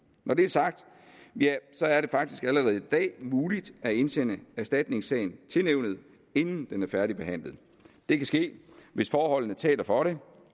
når det er sagt er er det faktisk allerede i dag muligt at indsende en erstatningssag til nævnet inden den er færdigbehandlet det kan ske hvis forholdene taler for det